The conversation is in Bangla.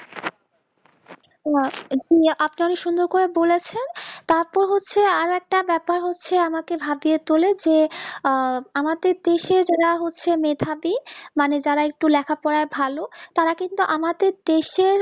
উ আ জি আপনারে সুন্দর করে বলেছেন তারপর হচ্ছে আর একটা ব্যাপার হচ্ছে আমাকে ভাবিয়ে তোলে যে আহ আমাদের দেশে যারা হচ্ছে মেধাবী মানে যারা একটু লেখা পরে ভালো তারা কিন্তু আমাদের দেশে